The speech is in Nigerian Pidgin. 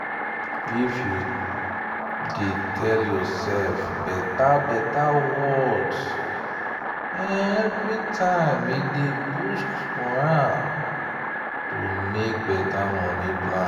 if you dey tell yourself beta beta words everytime e dey boost moral to make better money plans.